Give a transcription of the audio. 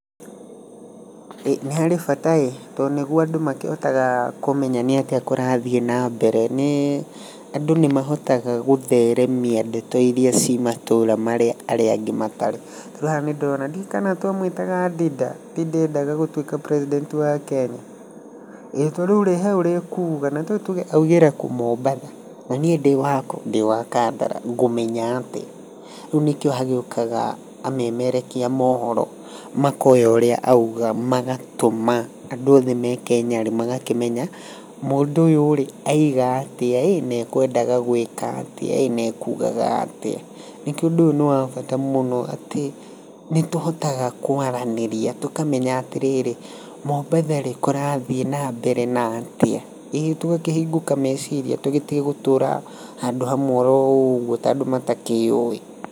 Nĩ harĩ bata ĩ, tondũ nĩguo andũ makĩhotaga kũmenya nĩ atĩa kũrathiĩ na mbere, nĩ andũ nĩ mahotaga gũtheremia ndeto ĩrĩa ciĩmatũra marĩa mangĩ matarĩ. Haha nĩ ndĩrona ndiũĩ kana twamwĩtaga Ndinda, Ndinda endaga gũtwĩka president wa Kenya. Tarĩu rĩ he ũrĩa ekuga augĩre kũndũ ta mombatha na niĩ ndĩ wakũ ? Ndĩwa kandara ngũmenya atĩa, rĩu nĩkĩo hagĩũkaga amemerekia a mohoro makoya ũrĩa auga, magatũma andũ arĩa othe me Kenya magakĩmenya mũndũ ũyũ rĩ, auga atĩa na ekwendaga gwĩka atĩa na ekugaga atĩa. Nĩkĩo ũndũ ũyũ nĩ wa bata mũno atĩ nĩ tũhotaga kwaranĩria tũkamenya atĩrĩrĩ mombatha rĩ, kũrathiĩ na mbere atĩa. Ĩtũgakĩhingũka meceria tũtige gũtũra handũ hamwe oro ũguo ta andũ matakĩũĩ.